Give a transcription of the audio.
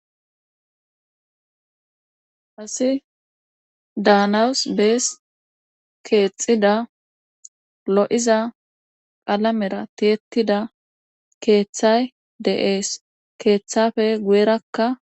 Assi danawus bees keexida lo'iza qalamera tiyettida keeththay de'ees keeththafe guyerakka